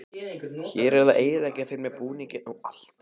Hún er að eyðileggja fyrir mér búninginn og allt.